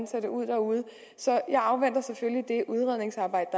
ser ud derude så jeg afventer selvfølgelig det udredningsarbejde